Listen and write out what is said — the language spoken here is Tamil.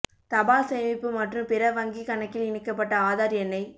தபால் சேமிப்பு மற்றும் பிற வங்கி கணக்கில் இணைக்கப்பட்ட ஆதார் எண்ணை